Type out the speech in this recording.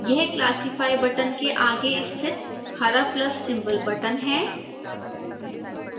यह classify button के आगे स्थित हरा प्लस सिंबल बटन है